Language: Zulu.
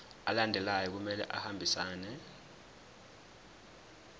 alandelayo kumele ahambisane